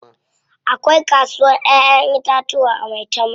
Akwai kasuwar Ƴaƴan itatuwa a Maitama.